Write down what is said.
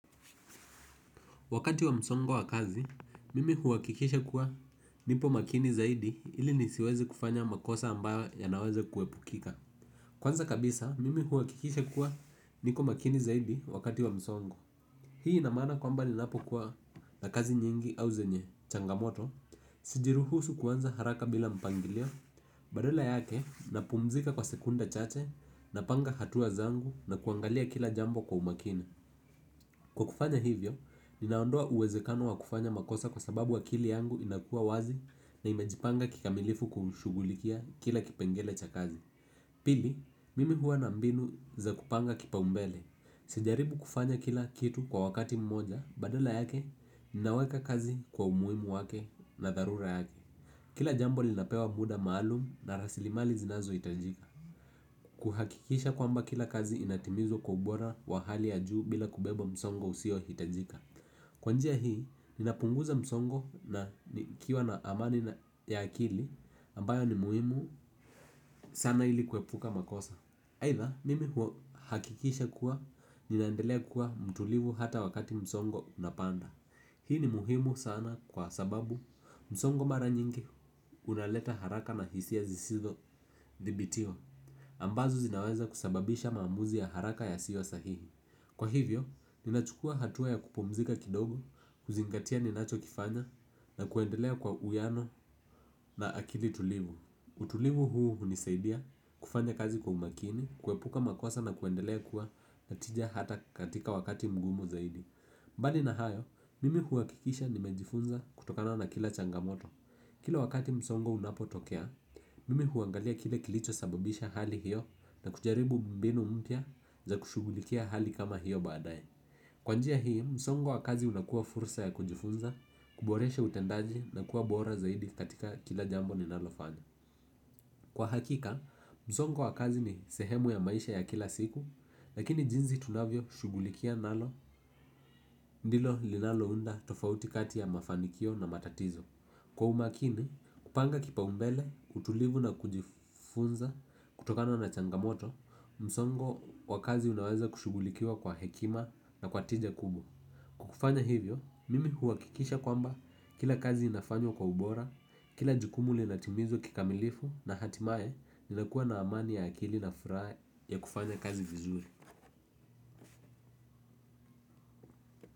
Wakati wa msongo wa kazi, mimi uakikisha kuwa nipo makini zaidi ili nisiwezi kufanya makosa ambayo yanaweza kuepukika. Kwanza kabisa, mimi huwakikisha kuwa niko makini zaidi wakati wa msongo. Hii ina maana kwamba linapo kuwa na kazi nyingi au zenye changamoto, sijiruhusu kuanza haraka bila mpangilio, badala yake napumzika kwa sekunda chache, napanga hatua zangu na kuangalia kila jambo kwa umakini. Kwa kufanya hivyo, ninaondoa uwezekano wa kufanya makosa kwa sababu akili yangu inakua wazi na imejipanga kikamilifu kushugulikia kila kipengele cha kazi. Pili, mimi huwa na mbinu za kupanga kipaumbele. Sijaribu kufanya kila kitu kwa wakati mmoja, badala yake, ninaweka kazi kwa umuimu wake na tharura yake. Kila jambo linapewa muda maalum na rasilimali zinazo itajika. Kuhakikisha kwamba kila kazi inatimizwa kwa ubora wa hali ya juu bila kubeba msongo usio hitajika. Kwa njia hii, ninapunguza msongo na nikiwa na amani ya akili ambayo ni muhimu sana ili kuepuka makosa. Aitha, mimi uhakikisha kuwa ninandelea kuwa mtulivu hata wakati msongo unapanda. Hii ni muhimu sana kwa sababu msongo mara nyingi unaleta haraka na hisia zisizo thibitiwa ambazo zinaweza kusababisha maamuzi ya haraka yasiyo sahihi. Kwa hivyo ninachukua hatua ya kupumzika kidogo kuzingatia ninacho kifanya na kuendelea kwa uwiano na akili tulivu. Utulivu huu unisaidia kufanja kazi kwa umakini, kuepuka makosa na kuendelea kuwa na tija hata katika wakati mgumu zaidi. Mbali na hayo, mimi huakikisha nimejifunza kutokana na kila changamoto. Kila wakati msongo unapotokea mimi uangalia kile kilicho sababisha hali hio na kujaribu mbinu mpya za kushughulikia hali kama hio baadaye. Kwa njia hii, msongo wa kazi unakua fursa ya kujifunza, kuboreshe utendaji na kuwa bora zaidi katika kila jambo ninalofanya. Kwa hakika, msongo wa kazi ni sehemu ya maisha ya kila siku, lakini jinzi tunavyo shugulikia nalo, ndilo linalo unda tofauti kati ya mafanikio na matatizo. Kwa umakini, kupanga kipaumbele, utulivu na kujifunza kutokana na changamoto, msongo wa kazi unaweza kushugulikiwa kwa hekima na kwa tija kubwa. Kufanya hivyo mimi uhakikisha kwamba kila kazi inafanywa kwa ubora kila jukumu linatimizwa kikamilifu na hatimaye ninakua na amani ya akili na furaha ya kufanya kazi vizuri.